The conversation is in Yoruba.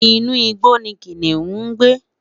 inu igbó ni kiniun ń gbé